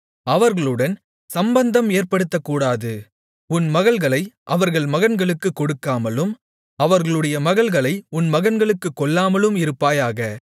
அவர்களுடன் சம்பந்தம் ஏற்படுத்தக்கூடாது உன் மகள்களை அவர்கள் மகன்களுக்குக் கொடுக்காமலும் அவர்களுடைய மகள்களை உன் மகன்களுக்குக் கொள்ளாமலும் இருப்பாயாக